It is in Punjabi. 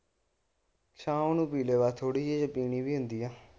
ਸ਼ਾਮ ਨੂੰ ਪੀ ਲਵੇ ਥੋੜੀ ਜੇ ਪੀਣੀ ਵੀ ਹੁੰਦੀ ਐ।